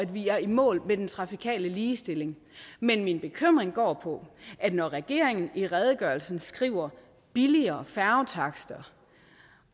vi er i mål med den trafikale ligestilling men min bekymring går på at når regeringen i redegørelsen skriver billigere færgetakster